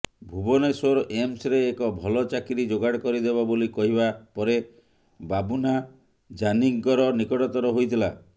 ଭୁବନେଶ୍ବର ଏମ୍ସରେ ଏକ ଭଲ ଚାକିରି ଯୋଗାଡ଼ କରିଦେବ ବୋଲି କହିବା ପରେ ବାବୁନା ଜାନିଙ୍କର ନିକଟତର ହୋଇଥିଲା